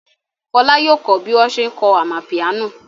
Fọlá yóò kọ́ bí wọ́n ṣe ń kọ amapiano.